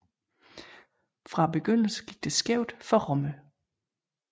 Fra begyndelsen gik det skævt for Rommel